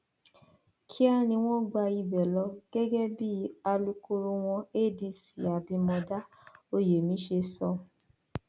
kíá ni wọn gba ibẹ lọ gẹgẹ bí alūkkoro wọn adc abimodá oyemi ṣe sọ